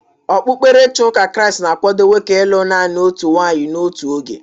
Okpukperechi ụka Kraịst na-akwado nwoke ịlụ naanị otu nwaanyị n'otu oge.